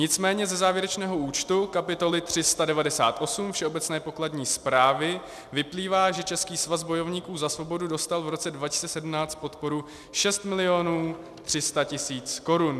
Nicméně ze závěrečného účtu kapitoly 398 Všeobecné pokladní správy vyplývá, že Český svaz bojovníků za svobodu dostal v roce 2017 podporu 6 milionů 300 tisíc korun.